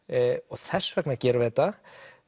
þess vegna gerum við þetta